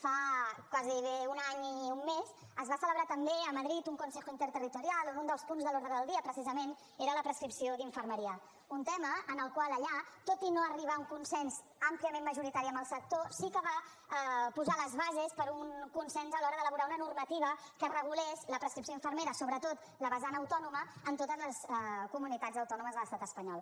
fa gairebé un any i un mes es va celebrar també a madrid un consejo interterritorial on un dels punts de l’ordre del dia precisament era la prescripció d’infermeria un tema en el qual allà tot i no arribar a un consens àmpliament majoritari amb el sector sí que es va posar les bases per a un consens a l’hora d’elaborar una normativa que regulés la prescripció infermera sobretot la vessant autònoma en totes les comunitats autònomes de l’estat espanyol